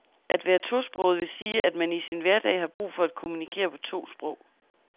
At være tosproget vil sige, at man i sin hverdag har brug for at kommunikere på to sprog.